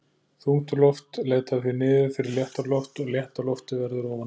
Þungt loft leitar því niður fyrir léttara loft og létta loftið verður ofan á.